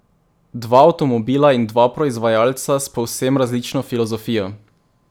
Dva avtomobila in dva proizvajalca s povsem različno filozofijo.